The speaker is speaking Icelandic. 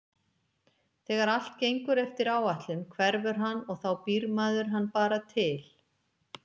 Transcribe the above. Þegar allt gengur eftir áætlun hverfur hann og þá býr maður hann bara til.